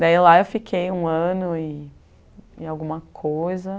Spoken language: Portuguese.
Daí lá eu fiquei um ano e e alguma coisa.